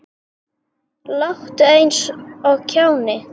Láttu eins og kjáni.